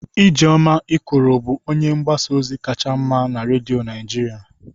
Ijeoma Ikoro bụ onye mgbasa ozi kacha mma na redio Naijiria.